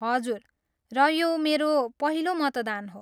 हजुर, र यो मेरो पहिलो मतदान हो।